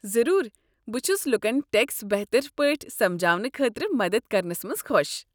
ضروٗر، بہ چھس لوٗکن ٹیكس بہتر پٲٹھۍ سمجاونہٕ خٲطرٕ مدتھ کرنس منٛز خۄش۔